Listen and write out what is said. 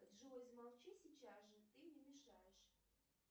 джой замолчи сейчас же ты мне мешаешь